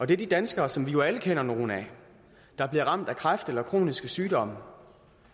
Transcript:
det er de danskere som vi jo alle kender nogle af der bliver ramt af kræft eller kroniske sygdomme